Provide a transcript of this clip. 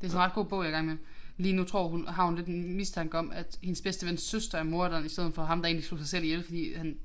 Det sådan en ret god bog jeg er igang med. Lige nu tror hun har hun lidt en mistanke om at hendes bedste vens søster er morderen i stedet for ham der egentlig slog sig selv ihjel fordi han